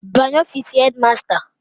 Banye ofiisi hedi masta.